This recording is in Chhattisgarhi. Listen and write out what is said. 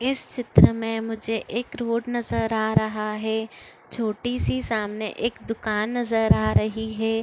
इस चित्र में मुझे एक रोड नज़र आ रहा है छोटी सी सामने एक दुकान नज़र आ रही है।